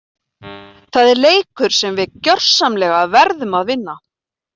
Það er leikur sem við gjörsamlega verðum að vinna!